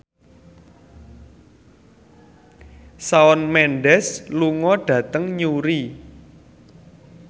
Shawn Mendes lunga dhateng Newry